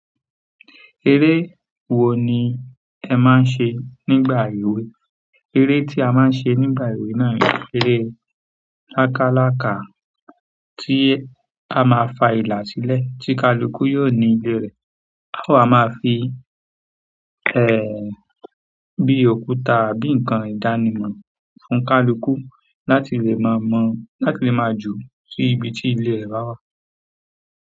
Eré wo ni ẹ máa ń ṣe nígbà ìwé? Eré tí a máa ń ṣe nígbà ìwé náà ni eré láláláka tí a máa fa ìlà sílẹ̀ tí kaluku yóò ní ilé rẹ̀. Á ma fi, ẹ́, bí òkúta àbí nǹkan ìdánimọ̀ fún kaluku láti lè máa mọ̀, láti lè máa ju sí ibi tí ilé rẹ̀ bà wà.